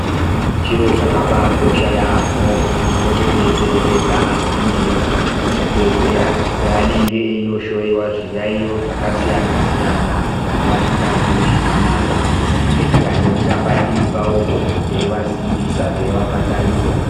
Chiro chakabai kosha yaamho kuti tipote teiperekedza anyani edu kuzvibhedhlera paanenge eino hloyiwa zviyayiyo zvakasiyana siyana kana vasingazwi zvakanaka tinenge takangomira padivi pavo poo teivasimbisa teivapa tariro.